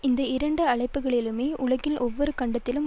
இந்த இரண்டு அமைப்புக்களிலுமே உலகின் ஒவ்வொரு கண்டத்திலும்